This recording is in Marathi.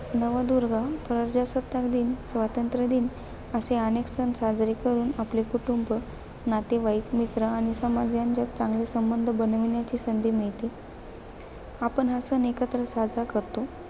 नवदुर्गा, प्रजासत्ताक दिन, स्वातंत्र्य दिन असे अनेक सण साजरे करून, आपले कुटूंब, नातेवाईक, मित्र आणि समाज यांच्यात चांगले संबंध बनवण्याची संधी मिळते. आपण हा सण एकत्र साजरा करतो.